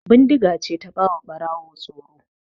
Bindiga ce ta ba wa Ɓarawo tsoro.